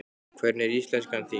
Hvernig er íslenskan þín?